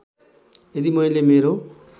यदि मैले मेरो